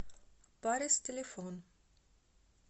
парис телефон